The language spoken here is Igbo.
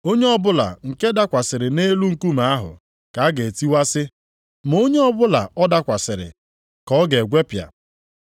Onye ọbụla nke dakwasịrị nʼelu nkume ahụ, ka a ga-etiwasị, ma onye ọbụla ọ dakwasịrị, ka ọ ga-egwepịa.”